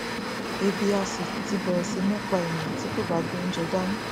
ebi á sì ti bẹẹrẹ sí ní pá ènìà tí kò bá gbé oúnjẹ dání